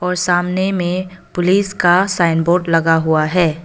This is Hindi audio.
और सामने में पुलिस का साइन बोर्ड लगा हुआ है।